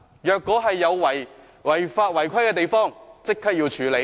如果有違法違規的地方，要立即處理。